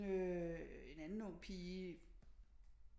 Øh en anden ung pige